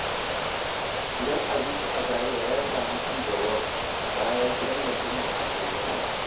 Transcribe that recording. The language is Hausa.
Gidan abinci a Zaria ya sami ci gaba bayan tallafin da aka yi masa.